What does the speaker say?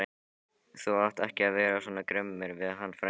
Þú átt ekki vera svona grimmur við hann frænda okkar!